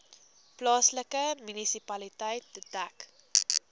plaaslike munisipaliteit dek